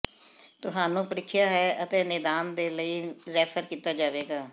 ਤੁਹਾਨੂੰ ਪ੍ਰੀਖਿਆ ਹੈ ਅਤੇ ਨਿਦਾਨ ਦੇ ਲਈ ਰੈਫਰ ਕੀਤਾ ਜਾਵੇਗਾ